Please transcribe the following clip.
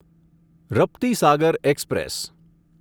Raptisagar express